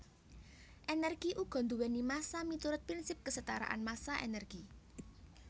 Energi uga duwéni massa miturut prinsip kesetaraan massa energi